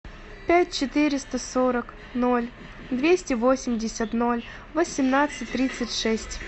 пять четыреста сорок ноль двести восемьдесят ноль восемнадцать тридцать шесть